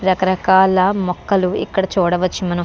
రక రకాల మోకాళ్ళు ఇక్కడ చూడవచు మనం.